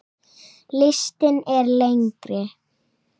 Listinn er lengri.